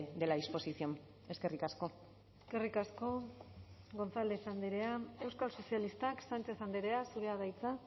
de la disposición eskerrik asko eskerrik asko gonzález andrea euskal sozialistak sánchez andrea zurea da hitza